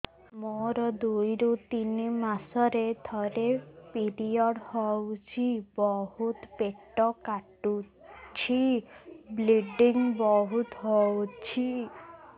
ମୋର ଦୁଇରୁ ତିନି ମାସରେ ଥରେ ପିରିଅଡ଼ ହଉଛି ବହୁତ ପେଟ କାଟୁଛି ବ୍ଲିଡ଼ିଙ୍ଗ ବହୁତ ହଉଛି